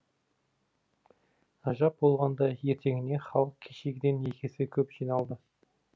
ғажап болғанда ертеңіне халық кешегіден екі есе көп жиналды